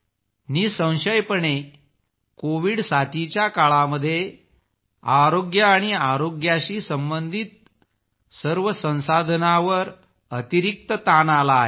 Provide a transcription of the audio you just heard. निःसंशयपणे कोविड साथीच्या काळात आरोग्य आणि आरोग्याशी संबंधित सर्व संसाधनांवर अतिरिक्त ताण आला आहे